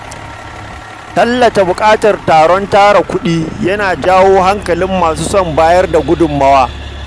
Tallata buƙatar taron tara kuɗi yana jawo hankalin masu son bayar da gudunmawa.